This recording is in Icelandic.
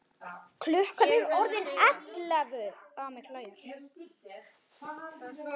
Klukkan er orðin ellefu!